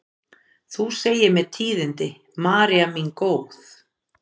Þú segir mér tíðindin, María mín góð.